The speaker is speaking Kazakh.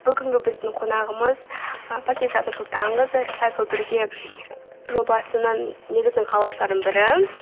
бүгінгі біздің қонағымыз ы пакизат нұрсұлтанқызы рисайклбірге жобасының негізін қалаушылардың бірі